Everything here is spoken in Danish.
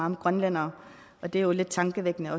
om grønlændere og det er jo lidt tankevækkende